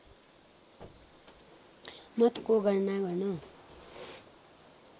मतको गणना गर्न